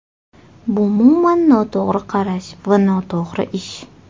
Bu umuman noto‘g‘ri qarash va noto‘g‘ri ish.